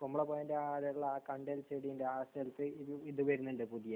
കുമ്പളക്കോയയിലെ ആ അവിടെയുള്ള ആ കണ്ടൽ ചെടിയുടെ അടുത്ത് ഇത് വരുന്നുണ്ട് പുതിയത്.